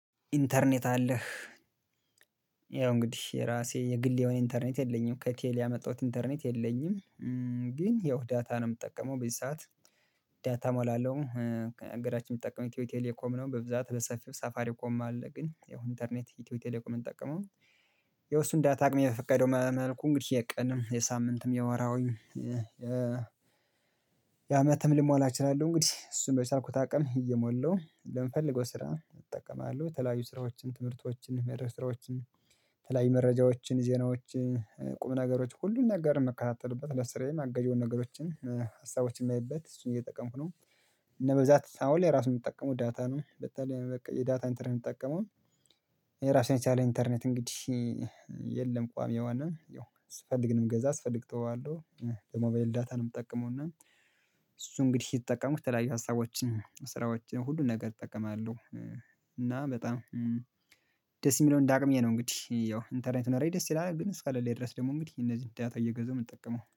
ኢንተርኔት አለህ ያው እንግዲህ የራሴ የግል የሆነ ኢንተርኔት የለኝም ከቴል ያመጣሁት ኢንተርኔት የለኝም። ግን ያው ዳታ ነው ምጠቀመው በዚህ ሰዓት ዳታ እሞላለሁ ከገራችን ምጠቀመው ኢትዮ ቴሌኮም ነው በብዛት በሰፊው ሳፋሪኮም አለ ግን ያው ኢንተርኔት ኢትዮ ቴሌኮምን ምንጠቀመው። ያው እሱን ዳታ አቅሜ በፈቀደው መልኩ እንግዲህ የቀንም የሳምንትም የወራሀዊም የአመትም ልሞላ እችላለሁ። እንግዲህ እሱን በቻልኩት አቅም እየሞላው ለምፈልገው ስራ እጠቀማለሁ የተለያዩ ስራዎችን ትምህርቶችን መድረክ ስራወችን የተለያዩ መረጃዎችን ዜናዎችን ቁም ነገሮችን ሁሉን ነገር መከታተልበት ለስራዬም አጋዢ የሆኑ ነገሮችን ሀሳቦችን ማይበት እሱን እየጠቀምኩ ነው። እና በዛ አሁን ላይ ራሱን የምትጠቀሙ ዳታ ነው በተለይ በቃ የዳታ እንተርኔት ምጠቀመው። የራሴን የቻለ ኢንተርኔት እንግዲህ የለም ቋሚ የወነ ያው ስፈልግ ነው ምገዛ ስፈልግ እተዋለሁ። ደግሞ በሞባይል ዳታ ነው ምጠቀመው እና እሱ እንግዲህ ሲጠቀሙት የተለያየ ሀሳቦችን ስራዎችን ሁሉን ነገር እጠቀማለሁ። እና በጣም ደስ ሚለው እንዳቅምዬ ነው እንግዲህ ያው ኢንተርኔት ቢኖረኝ እንግዲህ ደስ ይላል ግን እስካለለኝ ድረስ ደግሞ እንግዲህ እነዚህን ዳታ እየገዛሁ ምጠቀመው